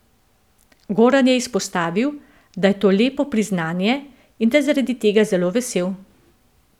Goran je izpostavil, da je to lepo priznanje in da je zaradi tega zelo vesel.